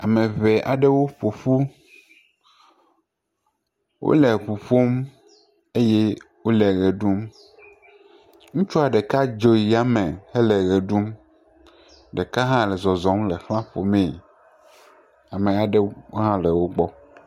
Ame ŋee aɖewo ƒoƒu wole ŋu ƒom eye wole ʋe ɖum, ŋutsua ɖeka dzo yi yame hele ɖum ɖeka hã la zɔzɔm le xla ƒom mee ame aɖewo hã le wo gbɔ.